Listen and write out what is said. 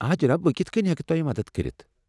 آ، جناب، بہٕ کتھہٕ كٕنۍ ہٮ۪کہٕ توہہِ مدتھ کٔرِتھ؟